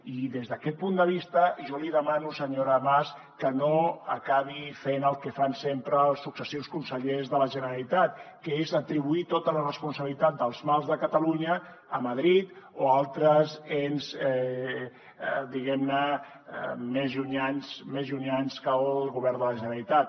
i des d’aquest punt de vista jo li demano senyora mas que no acabi fent el que fan sempre els successius consellers de la generalitat que és atribuir tota la responsabilitat dels mals de catalunya a madrid o a altres ens diguem ne més llunyans que el govern de la generalitat